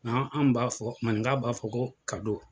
An an b'a fɔ maninka b'a fɔ ko